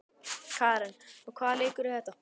Karen: Og hvaða leikur er þetta?